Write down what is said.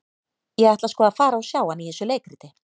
Ég ætla sko að fara og sjá hann í þessu leikriti.